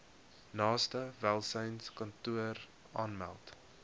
naaste welsynskantoor aanmeld